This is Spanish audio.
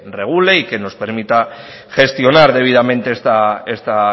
regule y que nos permita gestionar debidamente esta